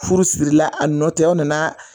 Furu sirila a nɔtɛ aw nana